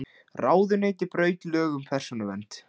Ráðuneyti braut lög um persónuvernd